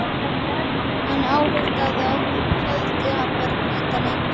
Hann ályktaði að hún héldi hann vera hvítan engil.